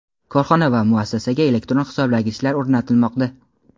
korxona va muassasaga elektron hisoblagichlar o‘rnatilmoqda.